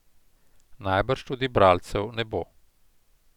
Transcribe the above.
Najbrž tudi bralcev ne bo.